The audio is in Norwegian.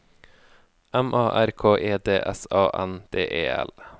M A R K E D S A N D E L